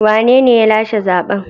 Wanene ya lashe zaɓen?